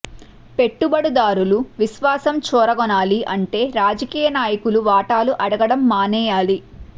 పెట్టుబడుదారుల విశ్వాసం చూరగొనాలి అంటే రాజకీయ నాయకులు వాటాలు అడగటం మానేయాలి